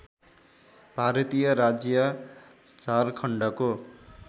भारतीय राज्य झारखण्डको